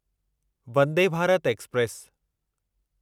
Vande Bharat express